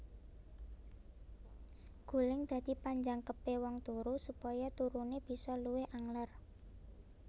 Guling dadi panjangkepé wong turu supaya turuné bisa luwih angler